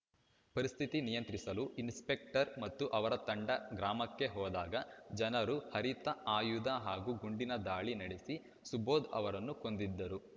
ಪರಿಸ್ಥಿತಿ ನಿಯಂತ್ರಿಸಲು ಇನ್ಸ್‌ಪೆಕ್ಟರ್‌ ಮತ್ತು ಅವರ ತಂಡ ಗ್ರಾಮಕ್ಕೆ ಹೋದಾಗ ಜನರು ಹರಿತ ಆಯುಧ ಹಾಗೂ ಗುಂಡಿನ ದಾಳಿ ನಡೆಸಿ ಸುಬೋಧ್‌ ಅವರನ್ನು ಕೊಂದಿದ್ದರು